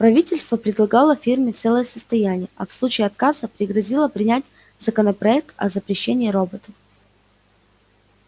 правительство предлагало фирме целое состояние а в случае отказа пригрозило принять законопроект о запрещении роботов